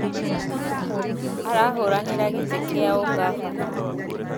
Arahũranĩra gĩtĩ kĩa ũngabana